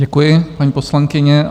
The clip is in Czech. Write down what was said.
Děkuji, paní poslankyně.